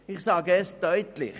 Ich sage es deutlich: